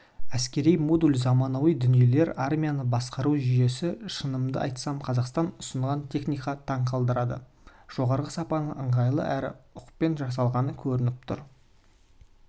әскери модул заманауи дүниелер армияны басқарау жүйесі шынымды айтсам қазақстан ұсынған техника таңқалдырды жоғары сапа ыңғайлы әрі ұқыппен жасалғаны көрініп тұр